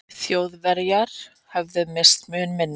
Þjóðverjar höfðu misst mun minna.